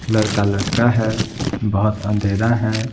लड़का लटका है बहुत अंधेरा है ।